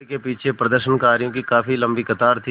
band के पीछे प्रदर्शनकारियों की काफ़ी लम्बी कतार थी